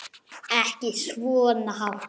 Ekki svona hátt.